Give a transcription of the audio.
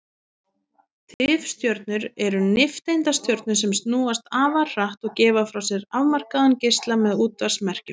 Tifstjörnur eru nifteindastjörnur sem snúast afar hratt og gefa frá sér afmarkaðan geisla með útvarpsmerkjum.